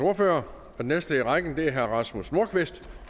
ordfører den næste i rækken er herre rasmus nordqvist